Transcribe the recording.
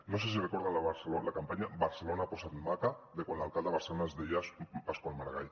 no sé si recorden la campanya barcelona posa’t maca de quan l’alcalde de barcelona es deia pasqual maragall